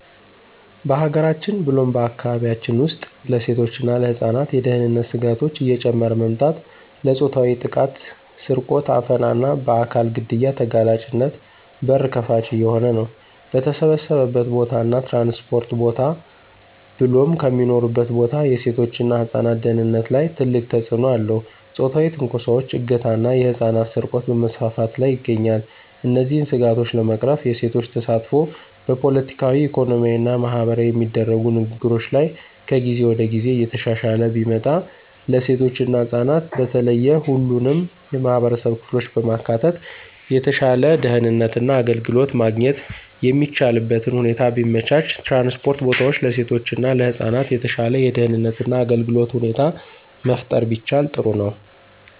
በሀገራችን ብሎም በአካባቢያችን ውስጥ ለሴቶች እና ለህፃናት የደህንነት ስጋቶች እየጨመረ መምጣት ለፆታዊ ጥቃት፣ ስርቆት፣ አፈና እና በአካል ግድያ ተጋላጭነት በር ከፋች እየሆነ ነው። በተሰበሰበበት ቦታ እና ትራንስፖርት ቦታ ብሎም ከሚኖሩበት ቦታ የሴቶች እና ህፃናት ደህንነት ላይ ትልቅ ተጽእኖ አለው ፆታዊ ትንኮሳዎች፣ እገታ ና የህፃናት ስርቆት በመስፋፋት ላይ ይገኛል። እነዚህን ስጋቶች ለመቅረፍ የሴቶች ተሳትፎ በፖለቲካዊ፣ ኢኮኖሚያዊ እና ማህበራዊ የሚደረጉ ንግግሮች ላይ ከጊዜ ወደ ጊዜ እየተሻሻለ ቢመጣ፣ ለሴቶች እና ህፃናት በተለየ ሁሉንም የማህበረሰብ ክፍሎች በማካተት የተሻለ ደህንነት እና አገልግሎት ማግኘት የሚቻልበትን ሁኔታ ቢመቻች፣ ትራንስፖርት ቦታዎች ለሴቶች እና ለህፃናት የተሻለ የደህንነት እና አገልግሎት ሁኔታ መፍጠር ቢቻል ጥሩ ነው።